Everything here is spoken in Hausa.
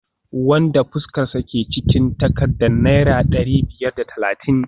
wanda fuskarsa ke cikin takardar naira dari biyar da talatin